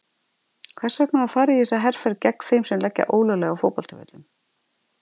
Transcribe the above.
Hvers vegna var farið í þessa herferð gegn þeim sem leggja ólöglega á fótboltavöllum?